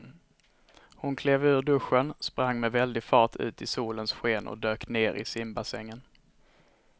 Hon klev ur duschen, sprang med väldig fart ut i solens sken och dök ner i simbassängen.